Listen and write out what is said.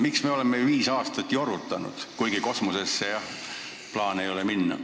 Miks me oleme viis aastat jorutanud, kuigi jah, kosmosesse minna plaani ei ole?